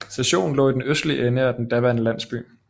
Stationen lå i den østlige ende af den daværende landsby